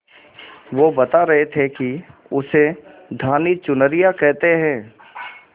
वो बता रहे थे कि उसे धानी चुनरिया कहते हैं